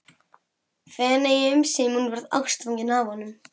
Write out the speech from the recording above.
Feneyjum sem hún varð ástfangin af honum.